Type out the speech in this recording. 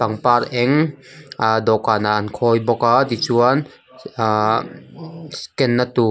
pangpar eng ahh dawhkan ah an khawi bawk a tichuan ahh scan na tur--